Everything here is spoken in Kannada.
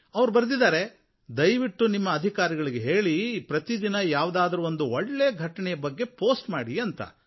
ಅವರು ಬರೆದಿದ್ದಾರೆ ದಯವಿಟ್ಟು ನಿಮ್ಮ ಅಧಿಕಾರಿಗಳಿಗೆ ಹೇಳಿ ಪ್ರತಿ ದಿನ ಯಾವುದಾದರೂ ಒಂದು ಒಳ್ಳೆಯ ಘಟನೆಯ ಬಗ್ಗೆ ಪೋಸ್ಟ್ ಮಾಡಿ ಅಂತ